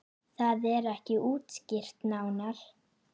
Það er ekki útskýrt nánar.